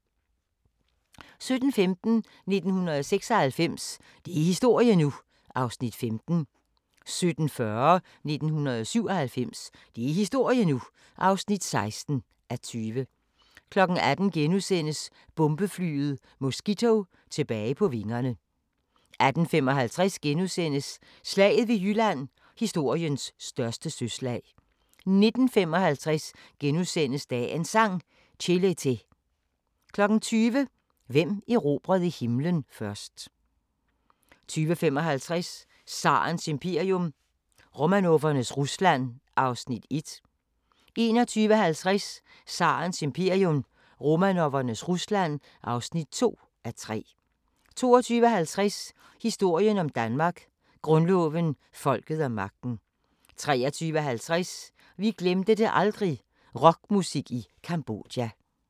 17:15: 1996 – det er historie nu! (15:20) 17:40: 1997 – det er historie nu! (16:20) 18:00: Bombeflyet Mosquito tilbage på vingerne * 18:55: Slaget ved Jylland – historiens største søslag * 19:55: Dagens Sang: Chelete * 20:00: Hvem erobrede himlen først? 20:55: Tsarens imperium – Romanovernes Rusland (1:3) 21:50: Tsarens imperium – Romanovernes Rusland (2:3) 22:50: Historien om Danmark: Grundloven, folket og magten 23:50: Vi glemte det aldrig – rockmusik i Cambodja